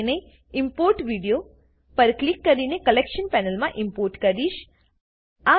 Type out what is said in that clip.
તો હું તેને ઇમ્પોર્ટ વીડિયો પર ક્લિક કરીને કલેક્શન પેનલમાં ઈમ્પોર્ટ કરીશ